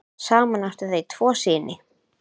Saman áttu þau tvo syni.